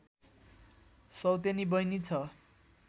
सौतेनी बहिनी छ